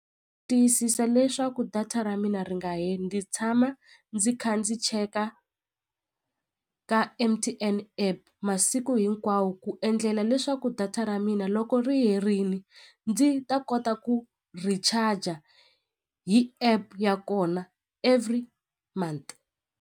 Tiyisisa leswaku data ra mina ri nga heli ndzi tshama ndzi kha ndzi cheka ka M_T_N app masiku hinkwawo ku endlela leswaku data ra mina loko ri herini ndzi ta kota ku recharger hi app ya kona every month.